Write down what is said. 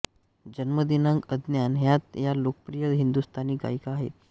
जन्मदिनांक अज्ञात हयात या लोकप्रिय हिंदुस्तानी गायिका आहेत